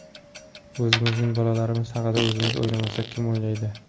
O‘zimizning bolalarimiz haqida o‘zimiz o‘ylamasak, kim o‘ylaydi?